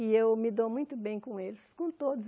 E eu me dou muito bem com eles, com todos.